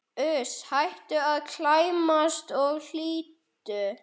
Uss, hættu að klæmast og hlýddu!